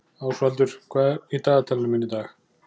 Ásvaldur, hvað er í dagatalinu í dag?